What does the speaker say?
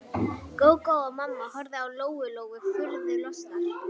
Gógó og mamma horfðu á Lóu Lóu furðu lostnar.